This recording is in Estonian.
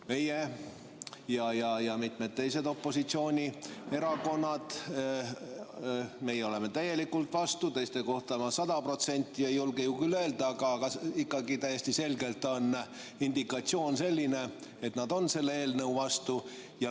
Meie ja teised opositsioonierakonnad: meie oleme täielikult vastu, teiste kohta ma sada protsenti ei julge küll öelda, aga ikkagi täiesti selgelt on indikatsioon selline, et nad on selle eelnõu vastu.